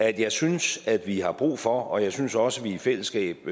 at jeg synes vi har brug for og jeg synes også vi i fællesskab